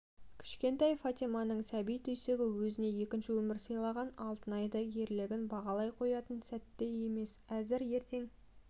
кішкентай фатиманың сәби түйсігі өзіне екінші өмір сыйлаған алтынайды ерлігін бағалай қоятын сәтте емес әзір ертең